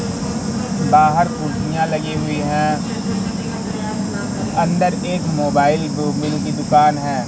बाहर कुर्सियां लगी हुई हैं अंदर एक मोबाइल ब मिल की दुकान है।